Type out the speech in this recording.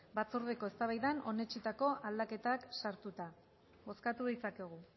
batzordeko eztabaidan onetsitako aldaketak sartuta bozkatu ditzakegu